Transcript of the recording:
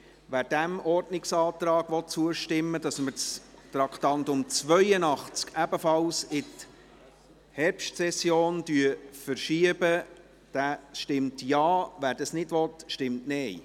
Wer dem Ordnungsantrag, wonach wir das Traktandum 82 ebenfalls in die Herbstsession verschieben, zustimmen will, stimmt Ja, wer dies nicht will, stimmt Nein.